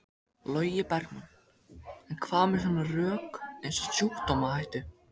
Logi Bergmann: En hvað með svona rök eins og sjúkdómahættu?